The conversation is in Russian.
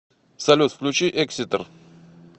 салют включи экситер